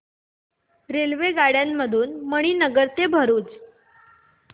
रेल्वेगाड्यां मधून मणीनगर ते भरुच